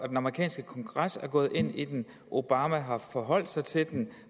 den amerikanske kongres er gået ind i den obama har forholdt sig til den